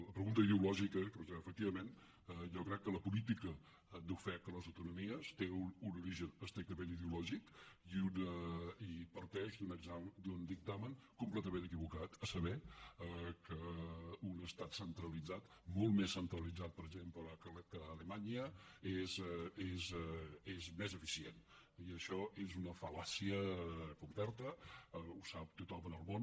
la pregunta ideològica efectivament jo crec que la política d’ofec a les autonomies té un origen estrictament ideològic i parteix d’un dictamen completament equivocat a saber que un estat centralitzat molt més centralitzat per exemple que alemanya és més eficient i això és una fallàcia completa ho sap tothom en el món